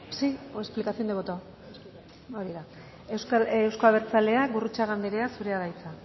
sí o explicación de voto euzko abertzaleak gurrutxaga andrea zurea da hitza